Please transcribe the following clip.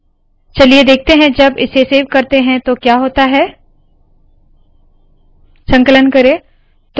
चलिए देखते है जब इसे सेव करते है तो क्या होता है संकलन करे